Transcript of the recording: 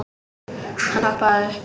Hann hoppaði upp.